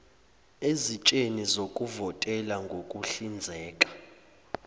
eziteshini zokuvotela ngokuhlinzeka